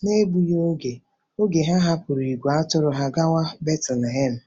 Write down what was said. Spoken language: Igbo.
N’egbughị oge, oge, ha hapụrụ ìgwè atụrụ ha gawa Betlehem.